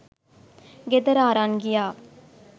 ගෙදර අරන් ගියා